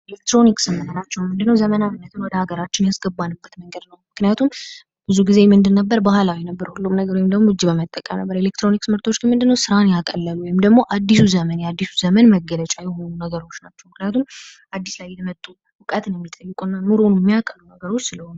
ኤሌክትሮኒክስ የምንላቸው ምንድነው ዘመናዊነትን ወደ ሀገራችን ያስገባንበት መንገድ ነው ምክንያቱም ብዙ ጊዜ ምንድን ነበር ባህላዊ ነበር ሁሉም ነገር ወይም ደግሞ እጅን በመጠቀም ነበር አለችጥሮኒክስ ምርቶች ምንድነው ስራ ያቀላሉ ወይም ደግሞ የአዲሱ ዘመን አዲሱ ዘመን መገለጫ የሆኑ ነገሮች ናቸው ምክንያቱም አዲስ ላይ የመጡ እውቀትን የሚጠይቁ እና ኑሮውን የሚያቀሉ ነገሮች ስለሆኑ ::